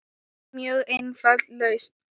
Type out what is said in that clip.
Mjög einföld lausn.